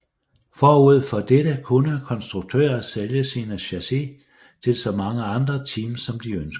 Forud for dette kunne konstruktører sælge sine chassis til så mange andre teams som de ønskede